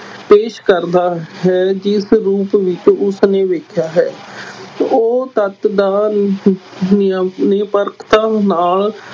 ਪੇਸ਼ ਕਰਦਾ ਹੈ ਜਿਸ ਰੂਪ ਵਿਚ ਉਸਨੇ ਵੇਖਿਆ ਹੈ ਉਹ ਤੱਥ ਦਾ ਨਿਰਪੱਖਤਾ ਨਾਲ